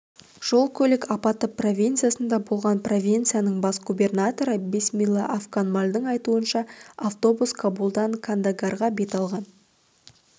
жол-көлік апаты провинциясында болған провинцияның бас губернаторы бисмилла афганмальдың айтуынша автобус кабулден кандагарға бет алған